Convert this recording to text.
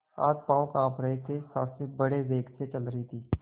हाथपॉँव कॉँप रहे थे सॉँस बड़े वेग से चल रही थी